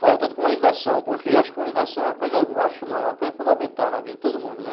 Falta de comunicação, porque eu acho que comunicação é uma coisa, eu acho não, é uma coisa fundamental na vida de todo mundo, né?